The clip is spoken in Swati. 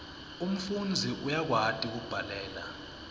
umfundzi uyakwati kubhalela